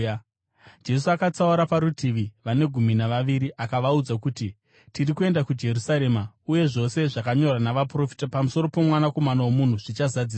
Jesu akatsaura parutivi vane gumi navaviri akavaudza kuti, “Tiri kuenda kuJerusarema, uye zvose zvakanyorwa navaprofita pamusoro poMwanakomana woMunhu zvichazadziswa.